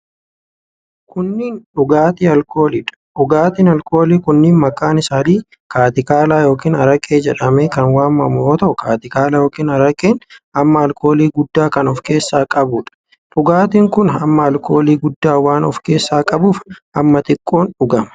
Kunneen, dhugaatii alkoolii dha. Dhugaatiin alkoolii kunneen maqaan isaanii kaatikaalaa yookin araqee jedhamee kan waamamu yoo ta'u, kaatikaalaa yookin araqeen hamma alkoolii guddaa kan of keessaa qabuu dha. Dhugaatiin kun, hamma alkoolii guddaa waan of keessaa qabuuf hamma xiqqoon dhugama.